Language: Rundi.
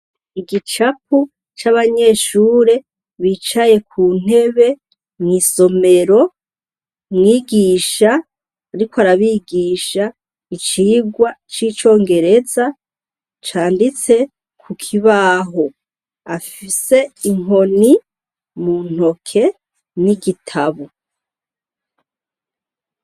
Igicapu c'abanyeshure bicaye ku ntebe mw'isomero mwigisha, ariko arabigisha icigwa c'icongereza canditse ku kibaho afise inkoni mu ntoke ni igitabu.